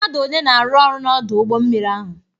Mmadụ one na-arụ ọrụ na Ọdụ ụgbọ mmiri ahụ?